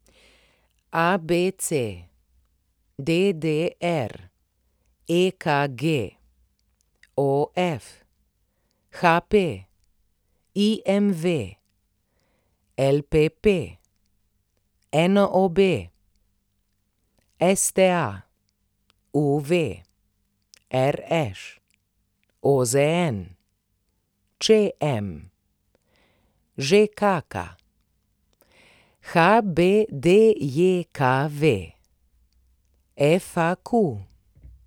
ABC, DDR, EKG, OF, HP, IMV, LPP, NOB, STA, UV, RŠ, OZN, ČM, ŽKK, HBDJKV, FAQ.